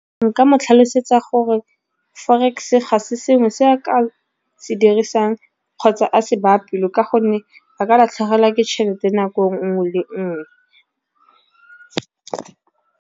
Nka mo tlhalosetsa gore forex ga se sengwe se a ka se dirisang kgotsa a se baya pelo ka gonne, a ka latlhegelwa ke tšhelete nako nngwe le nngwe.